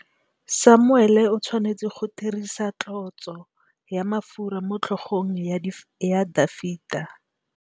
Samuele o tshwanetse go dirisa tlotsô ya mafura motlhôgong ya Dafita.